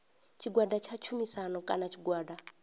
tshigwada tsha tshumisano kana tshigwada